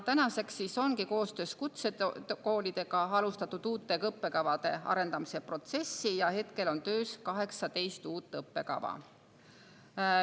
Koostöös kutsekoolidega ongi alustatud uute õppekavade arendamise protsessi, töös on 18 uut õppekava.